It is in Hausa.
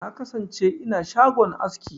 Na kasance ina shagon aski.